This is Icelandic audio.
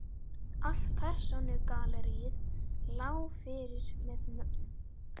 Allt persónugalleríið lá fyrir með nöfnunum